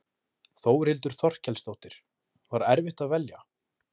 Þórhildur Þorkelsdóttir: Var erfitt að velja?